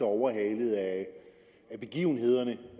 overhalet af begivenhederne